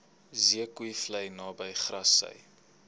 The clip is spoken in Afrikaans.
zeekoevlei naby grassy